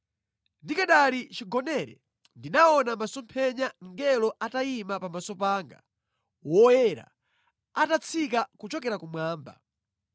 “Ndikanali chigonere ndinaona mʼmasomphenya mngelo atayima pamaso panga, woyera, atatsika kuchokera kumwamba.